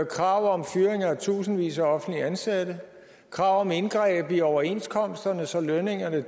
krav om fyringer af tusindvis af offentligt ansatte krav om indgreb i overenskomsterne så lønningerne